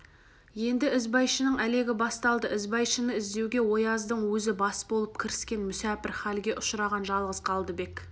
енді ізбайшаның әлегі басталды ізбайшаны іздеуге ояздың өзі бас болып кіріскен мүсәпір халге ұшыраған жалғыз қалдыбек